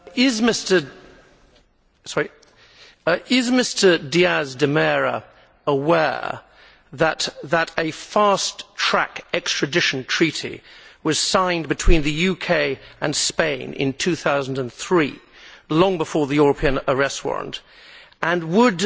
Mr President, is Mr Díaz de Mera aware that a fast track extradition treaty was signed between the UK and Spain in 2003, long before the European Arrest Warrant, and would